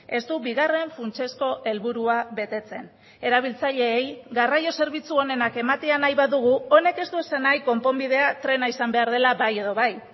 ez du bigarren funtsezko helburua betetzen erabiltzaileei garraio zerbitzu onenak ematea nahi badugu honek ez du esan nahi konponbidea trena izan behar dela bai edo bai